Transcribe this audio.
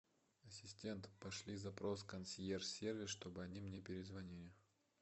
ассистент пошли запрос в консьерж сервис чтобы они мне перезвонили